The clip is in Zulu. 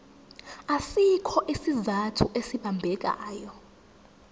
asikho isizathu esibambekayo